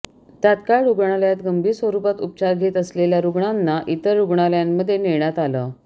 तात्काळ रुग्णालयात गंभीर स्वरुपात उपचार घेत असलेल्या रुग्णांना इतर रुग्णालयांमध्ये नेण्यात आलं